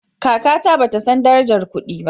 Kakata bata san darajar kudi ba